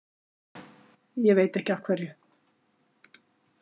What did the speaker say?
Ég veit ekki af hverju.